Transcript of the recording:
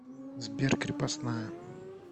сбер крепостная